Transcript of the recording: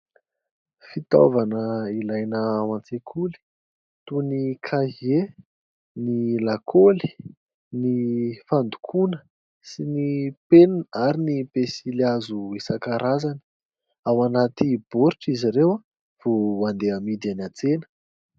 Fitaovana ilaina ao an-tsekoly toy ny kahie, ny lakaoly, ny fandokoana sy ny penina ary ny pensilihazo isan-karazany. Ao anaty baoritra izy ireo vao andeha amidy eny an-tsena.